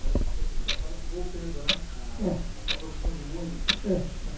Quando que o senhor o senhor acaba voltando né É à sua profissão de músico. É